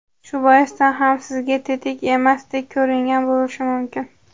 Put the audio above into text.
Shu boisdan ham sizga tetik emasdek ko‘ringan bo‘lishi mumkin.